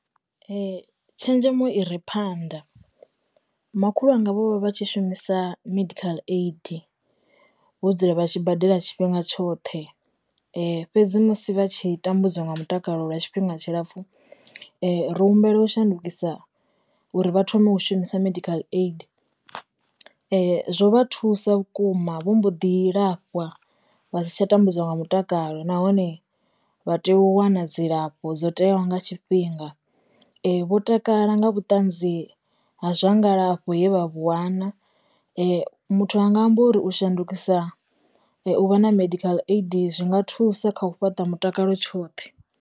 Tshenzhemo i re phanḓa, makhulu wanga vho vha vha tshi shumisa medical aid vho dzula vha tshi badela tshifhinga tshoṱhe, fhedzi musi vha tshi tambudzwa nga mutakalo lwa tshifhinga tshilapfhu, ro humbela u shandukisa uri vha thome u shumisa medical aid. Zwo vha thusa vhukuma vho mbo ḓi lafhwa vha si tsha tambudzwa nga mutakalo nahone vha tea u wana dzilafho dzo teaho nga tshifhinga, vho takala nga vhutanzi ha zwa ngalafho ye vha vhu wana, muthu anga amba uri u shandukisa u vha na medical aid zwi nga thusa kha u fhaṱa mutakalo tshoṱhe.